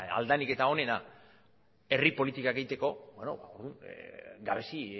ahalik eta onena herri politikak egiteko gabezi